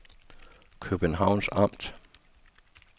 Københavns Amt